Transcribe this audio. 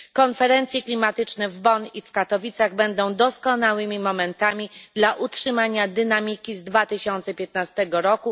Konferencje klimatyczne w Bonn i w Katowicach będą doskonałymi momentami dla utrzymania dynamiki z 2015 r.,